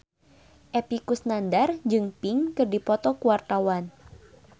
Epy Kusnandar jeung Pink keur dipoto ku wartawan